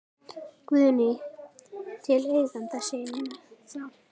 Guðný: Til eigenda sinna þá?